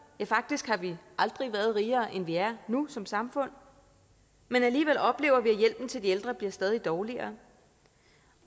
ja faktisk har vi aldrig været rigere end vi er nu som samfund men alligevel oplever vi at hjælpen til de ældre bliver stadig dårligere